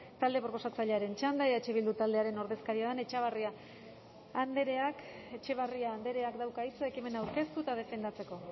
talde proposatzailearen txanda eh bildu taldearen ordezkaria den etxebarria andreak dauka hitza ekimena aurkeztu eta defendatzeko